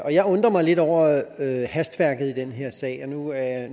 jeg undrer mig lidt over hastværket i den her sag og nu er